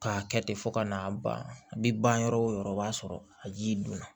K'a kɛ ten fo ka n'a ban a bi ban yɔrɔ o yɔrɔ o b'a sɔrɔ a ji donna